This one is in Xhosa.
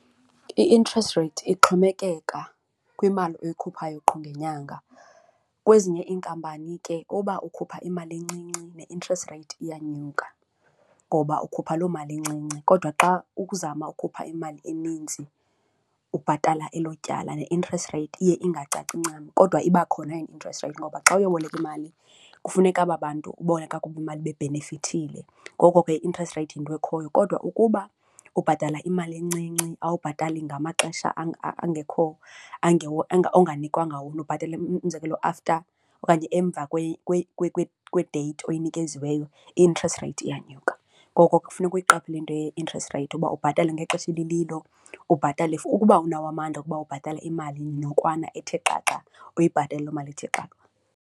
I-interest rate ixhomekeka kwimali oyikhuphayo qho ngenyanga. Kwezinye iinkampani ke uba ukhupha imali encinci ne-interest rate iyanyuka ngoba ukhupha loo mali incinci kodwa xa ukuzama ukhupha imali eninzi ubhatala elo tyala ne-interest rate iye ingacaci ncam. Kodwa iba khona yona i-interest rate ngoba xa uyoboleka imali kufuneka aba bantu uboleka kubo imali bebhenefithile. Ngoko ke i-interest rate yinto ekhoyo kodwa ukuba ubhatala imali encinci awubhatali ngamaxesha angekho onganikwanga wona ubhatala umzekelo after okanye emva deythi oyinikeziweyo, i-interest rate iyanyuka ngoko ke kufuneka uyiqaphele into ye-interest rate uba ubhatale ngexesha elililo, ubhatale ukuba unawo amandla okuba ubhatala imali nokwana ethe xaxa uyibhatale loo mali ithi xa.